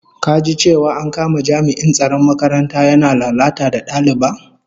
Ka ji cewa an kama jami'in tsaron makaranta yana lalata da daliba?